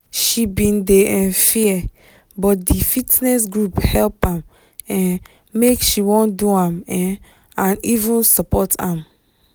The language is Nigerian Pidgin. she bin dey um fear but di fitness group help am um make she wan do am um and even support am